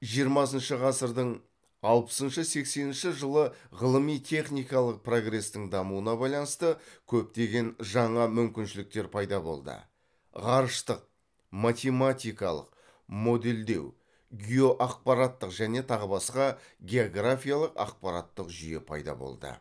жиырмасыншы ғасырдың алпысыншы сексенінші жылы ғылыми техникалық прогрестің дамуына байланысты көптеген жаңа мүмкіншіліктер пайда болды ғарыштық математикалық модельдеу геоақпараттық және тағы басқа географиялық ақпараттық жүйе пайда болды